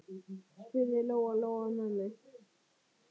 spurði Lóa-Lóa ömmu.